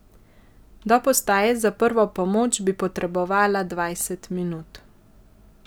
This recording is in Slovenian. Do postaje za prvo pomoč bi potrebovala dvajset minut.